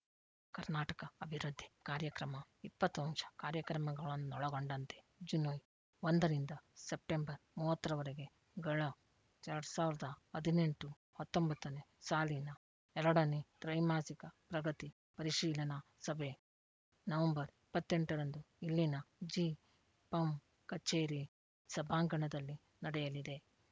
ಕರ್ನಾಟಕ ಅಭಿವೃದ್ಧಿ ಕಾರ್ಯಕ್ರಮ ಇಪ್ಪತ್ತು ಅಂಶ ಕಾರ್ಯಕ್ರಮಗಳನ್ನೊಳಗೊಂಡಂತೆ ಜುನು ಒಂದರಿಂದ ಸೆಪ್ಟೆಂಬರ್ ಮೂವತ್ತರವರೆಗೆಗಳ ಎರಡ್ ಸಾವಿರದ ಹದಿನೆಂಟುಹತ್ತೊಂಬತ್ತನೇ ಸಾಲಿನ ಎರಡನೇ ತ್ರೈಮಾಸಿಕ ಪ್ರಗತಿ ಪರಿಶೀಲನಾ ಸಭೆ ನವೆಂಬರ್ ಇಪ್ಪತ್ತ್ ಎಂಟರಂದು ಇಲ್ಲಿನ ಜಿಪಂ ಕಚೇರಿ ಸಬಾಂಗಣದಲ್ಲಿ ನಡೆಯಲಿದೆ